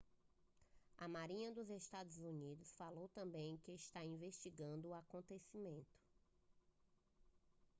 a marinha dos estados unidos falou também que estava investigando o acontecimento